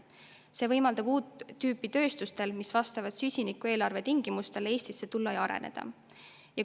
See võimaldab uut tüüpi tööstusel, mis vastab süsinikueelarve tingimustele, Eestisse tulla ja siin areneda.